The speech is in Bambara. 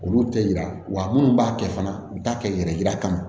Olu tɛ yira wa minnu b'a kɛ fana u bɛ taa kɛ yɛrɛ yira kama